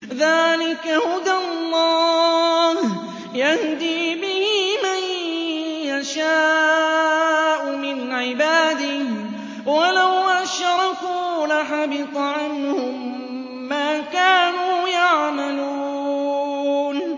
ذَٰلِكَ هُدَى اللَّهِ يَهْدِي بِهِ مَن يَشَاءُ مِنْ عِبَادِهِ ۚ وَلَوْ أَشْرَكُوا لَحَبِطَ عَنْهُم مَّا كَانُوا يَعْمَلُونَ